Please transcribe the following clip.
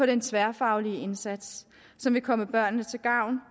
den tværfaglige indsats som vil komme børnene til gavn